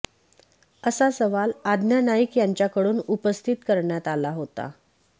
असा सवाल आज्ञा नाईक यांच्याकडून उपस्थित करण्यात आला होता